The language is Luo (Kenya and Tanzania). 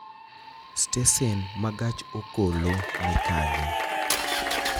Stesen ma gach okoloni kanye